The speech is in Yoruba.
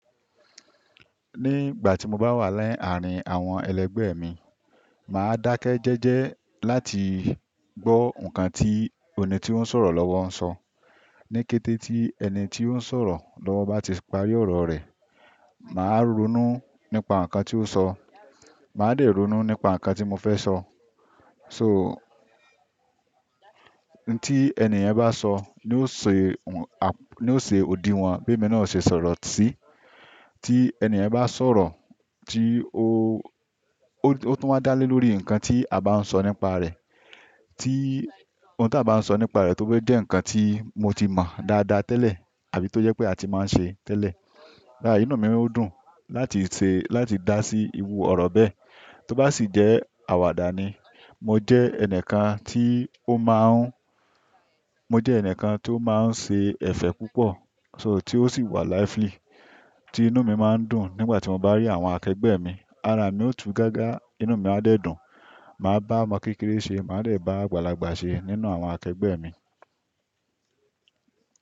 Ní ìgbà tí mo bá wà ni àárín àwọn ẹlẹgbẹ́ mi, màá dákẹ́ jẹ́jẹ́ láti gbọ́ nǹkan tí ẹni tí ó ń sọ̀rọ̀ lọ́wọ́ ń sọ. Ní kété tí ẹni tí ó ń sọ̀rọ̀ lọ́wọ́ bá ti parí ọ̀rọ̀ rẹ̀, màá ronú nípa nǹkan tí ó sọ, màá dẹ̀ ronú nípa nǹkan tí mo fẹ́ sọ. So, ìn tí ẹnì yẹn bá sọ ni ó ṣe, ni ó ṣe òdí wọn bí emi náà o ṣe sọ̀rọ̀ sí. Tí ènìyàn bá sọ̀rọ̀ tí ó, ó tún wa dálé lórí nǹkan tí a bá ń sọ nípa rẹ̀. Tí ohun tí a bá ń sọ nípa rẹ̀ tó bá jẹ́ nǹkan tí mo ti mọ dáadáa tẹ́lẹ̀ àbí tó jẹ́ pé a ti máa ń ṣe tẹ́lẹ̀. Inú mi ó dùn láti ṣe, láti dá sí iru ọ̀rọ̀ bẹ́ẹ̀. Tó bá sì jẹ́ àwàdà ni, mo jẹ́ ẹnìkan tí ó máa ń, mo jẹ́ ẹnìkan tí ó máa ń ṣe ẹ̀fẹ̀ púpọ̀, so tí ó sì wà lively, tí inú mi máa ń dùn nígbà tí mo bá rí àwọn akẹgbẹ́ mi. Ara mi ó tú gágá, inú mi á dẹ̀ dùn, màá bá ọmọ kékeré se, màá dẹ̀ bá àgbàlagbà ṣe nínú àwọn akẹgbẹ́ mi.